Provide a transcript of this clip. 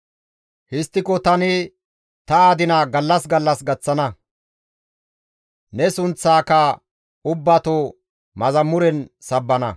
Histtiko tani ta adina gallas gallas gaththana; ne sunththaaka ubbato yeththan sabbana.